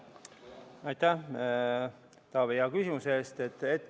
Aitäh, Taavi, hea küsimuse eest!